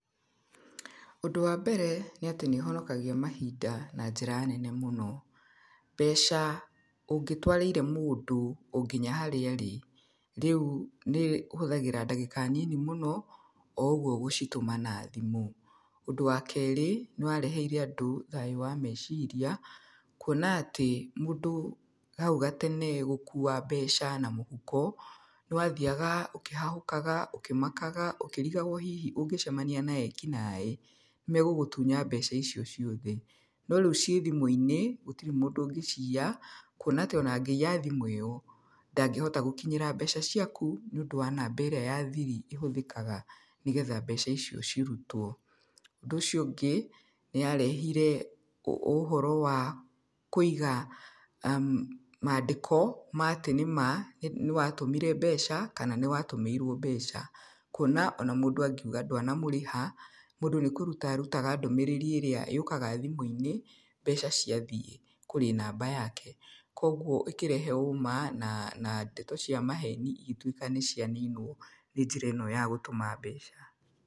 Ũndũ wa mbere nĩ atĩ nĩ ũhonokagia mahinda na njĩra nene mũno. Mbeca ũngĩtwarĩire mũndũ o nginya harĩa arĩ, rĩu nĩ ũhuthagĩra ndagĩka nini mũno, o ũguo gũcituma na thimu. Ũndũ wa kerĩ, nĩ wareheire andũ thayu wa meciria, kuona atĩ mũndũ hau gatene gũkuua mbeca na mũhuko, nĩ wathiaga ũkihahukaga, ũkĩmakaga, ũkĩrigagwo rĩu hihi ũngcemania na ekinaĩ, nĩ megũgũtunya mbeca icio ciothe. No rĩu ci thimũ-inĩ, gũtirĩ mũndũ ũngĩciya, kuona atĩ ona angĩiya thimũ yaku, ndangĩhota gũkinyĩra mbeca ciaku nĩuũndũ wa namba ĩrĩa ya thiri ĩhũthĩkaga, nĩgetha mbeca icio ciothe cirutwo. Ũndũ ũcio ũngĩ, nĩ yarehire ũhoro wa kũiga mandĩko, ma atĩ nĩ ma nĩwatũmire mbeca, kana nĩ watũmĩirwo mbeca. Kuona ona mũndũ angiuga ndwana mũrĩha, nĩ kũruta ũrutaga ndũmĩrĩriĩrĩa yũkaga thimũ-inĩ, mbeca ciathiĩ kũrĩ namba yaje. Koguo ũkirehe ũma, na ndeto cia maheni igĩtuĩka nĩ cia ninwo, nĩ njĩra ĩno ya gũtũma mbeca.